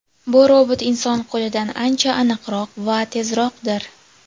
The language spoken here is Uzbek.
Bu robot inson qo‘lidan ancha aniqroq va tezroqdir.